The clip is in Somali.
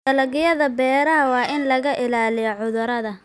Dalagyada beeraha waa in laga ilaaliyo cudurrada.